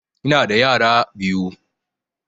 Ina da yara biyu